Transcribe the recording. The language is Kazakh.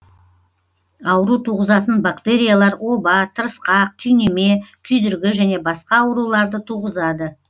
ауру туғызатын бактериялар оба тырысқақ түйнеме күйдіргі және басқа ауруларды туғызады